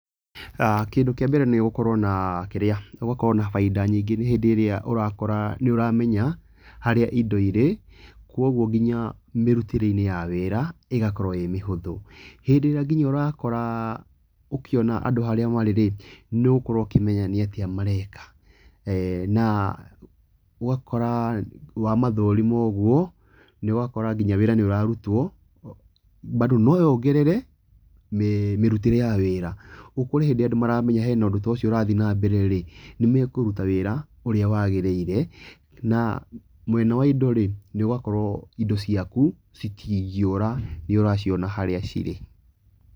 Kĩndũ kĩa mbere nĩ gukorwo na kĩrĩa nĩ gũkorwo na bainda nyingĩ hĩndĩ ĩrĩa ũrakora nĩ ũramenya harĩa indo irĩ, koguo nginya mĩrutĩre-inĩ ya wĩra ĩgakorwo ĩ mĩhũthũ. Hĩndĩ ĩrĩa nginya ũrakora ũkĩona andũ nginya harĩa marĩ rĩ nĩ ũgũkorwo ũkĩmenya nĩ atĩa mareka. Na ũgakora wamathũrima ũguo ũgakora nginya wĩra nĩ ũrarutwo, bando no yongerere mĩrutĩre ya wĩra. Ũkore akorwo andũ ni maramenya hena ũndũ ta ũcio ũrathiĩ na mbere rĩ, nĩ mekũruta wĩra ũrĩa wagĩrĩire, na mwena wa indo rĩ nĩ ũgakorwo indo ciaku citingĩũra nĩ ũraciona harĩa cirĩ.